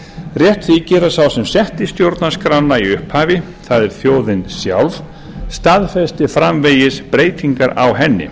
rétt þykir að sá sem setti stjórnarskrána í upphafi það er þjóðin sjálf staðfesti framvegis breytingar á henni